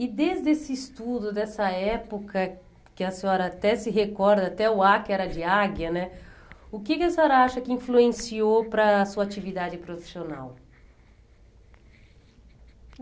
E desde esse estudo, dessa época, que a senhora até se recorda, até o á, que era de águia né, o que que a senhora acha que influenciou para a sua atividade profissional?